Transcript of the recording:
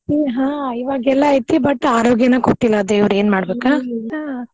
ಹಾ ಇವಾಗೆಲ್ಲಾ ಐತಿ but ಆರೋಗ್ಯನ ಕೊಟ್ಟಿಲ್ಲಾ ಆ ದೇವ್ರ ಏನ್ ಹಾ.